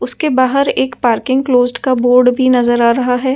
उसके बाहर एक पार्किंग क्लोजड का बोर्ड भी नजर आ रहा है ।